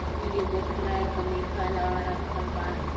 इ एको उपरा है कमी फलवा रखल बा।